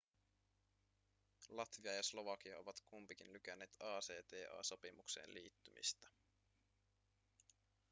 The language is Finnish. latvia ja slovakia ovat kumpikin lykänneet acta-sopimukseen liittymistä